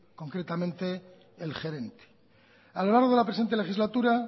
concretamente el gerente a lo largo de la presente legislatura